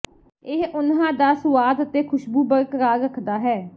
ਇਹ ਉਨ੍ਹਾਂ ਦਾ ਸੁਆਦ ਅਤੇ ਖੁਸ਼ਬੂ ਬਰਕਰਾਰ ਰੱਖਦਾ ਹੈ